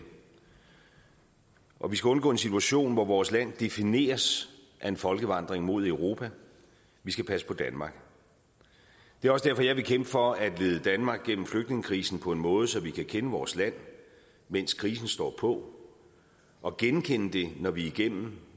og vi skal undgå en situation hvor vores land defineres af en folkevandring mod europa vi skal passe på danmark det er også derfor jeg vil kæmpe for at lede danmark gennem flygtningekrisen på en måde så vi kan kende vores land mens krisen står på og genkende det når vi er igennem